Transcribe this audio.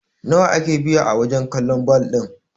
nawa ake biya wajen kallon bal ɗin!?